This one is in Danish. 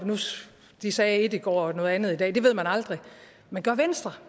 de sagde ét i går og siger noget andet i dag det ved man aldrig men gør venstre